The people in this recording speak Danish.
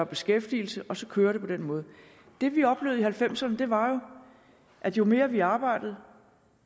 beskæftigelse og så kører det på den måde det vi oplevede i nitten halvfemserne var jo at jo mere vi arbejdede